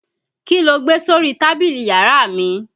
Kí lo gbé sórí tábìlì yàrá mi?